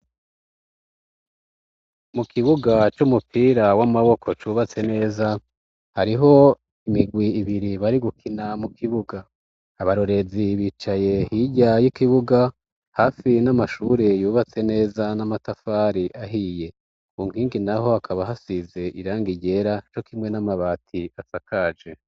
Mu kibuga c'umupira w'amaboko cubatse neza hariho imigwi ibiri bari gukina mu kibuga. Abarorezi bicaye hijya y'ikibuga hafi n'amashuri yubatse neza n'amatafari ahiye ku nkingi naho akaba hasize iranga ryera co kimwe n'amabati asakaje.